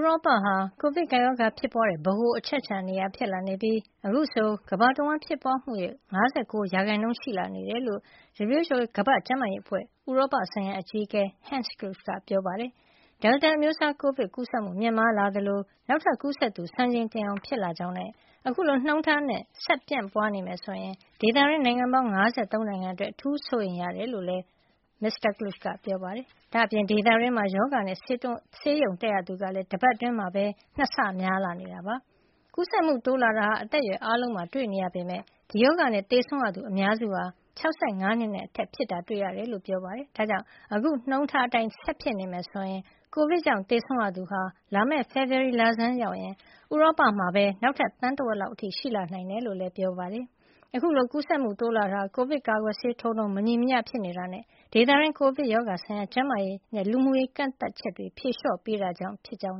ရောပဟာ ကိုဗစ် ကပ်ရောဂါဖြစ်ပွါးတဲ့ ဗဟိုအချက်အချာ နေရာ ဖြစ်လာနေပြီး အခုဆို ကမ္ဘာတဝှမ်းဖြစ်ပွါးမှုရဲ့ ၅၉ ရာခိုင်နှုန်းရှိနေတယ်လို့ WHO ကမ္ဘာ့ကျန်းမာရေးအဖွဲ့ ဥရောပဆိုင်ရာအကြီးအကဲ Hans Kluge က ပြောပါတယ်။ ဒယ်လ်တာအမျိုးစား ကိုဗစ်ပိုးကူးစက်မှု မြင့်မားလာသလို နောက်ထပ်ကူးစက်သူက စံချိန်တင်လောက်အောင် ဖြစ်လာကြောင်းနဲ့ အခုလိုနှုန်းထားနဲ့ ဆက်ပြန့်ပွါးနေမယ်ဆိုရင် ဒေသတွင်းက နိုင်ငံပေါင်း ၅၃ နိုင်ငံအတွက် အထူးစိုးရရိမ်ရတဲ့ အနေထားဖြစ်နေတယ်လို့ အွန်လိုင်းကပြုလုပ်တဲ့ သတင်းစာရှင်းလင်းပွဲမှာ မစ္စတာ Kluge က ပြောပါတယ်။ ဒါ့အပြင် ဒေသတွင်းမှာ ဒီရောဂါနဲ့ ဆေးရုံးတက်ရသူကလည်း တပတ်အတွင်းမှာပဲ ၂ ဆ များလာနေတယ်လို့ ပြောပါတယ်။ ကူးစက်မှုတိုးလာတာဟာ အသက်အရွယ်အားလုံးမှာတွေ့နေရပေမယ့် ဒီရောဂါနဲ့ သေဆုံးရသူ အများစုကတော့ အသက် ၆၅ နှစ်နဲ့ အထက်တွေ ဖြစ်တာတွေ့ရတယ်လို့လည်း ပြောပါတယ်။ ဒါကြောင့် အခုနှုန်းထားအတိုင်းသာ ဆက်လက်ဖြစ်ပွါးနေမယ် ဆိုရင် ကိုဗစ်ကြောင့် သေဆုံးရသူဟာ လာမယ့် ဖေဖေါ်ဝါရီလဆန်းရောက်ရင် ဥရောပမှာပဲ နောက်ထပ် သန်းဝက်လောက်အထိ ရှိလာနိုင်တယ်လို့လည်း ပြောပါတယ်။ အခုလို ကူးစက်မှု တိုးလာတာဟာ ကိုဗစ်ကာကွယ်ဆေးထိုးနှုန်း မညီမမျှ ဖြစ်နေတာနဲ့ ဒေသတွင်း ကိုဗစ်ကပ်ရောရဂါ ဆိုင်ရာ ကျန်းမာရေးနဲ့ လူမှုရေး ကန့်သတ်ချက်တွေ ဖြေလျှော့ပေးတာကြောင့် ဖြစ်ကြောင်း